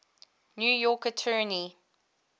new york attorney